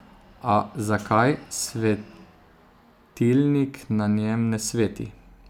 A zakaj svetilnik na njem ne sveti?